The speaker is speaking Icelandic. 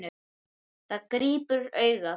Það grípur augað.